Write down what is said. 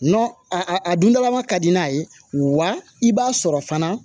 a dundalama ka di n'a ye wa i b'a sɔrɔ fana